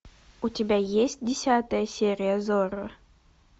у тебя есть десятая серия зорро